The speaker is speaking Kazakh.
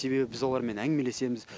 себебі біз олармен әңгімелесеміз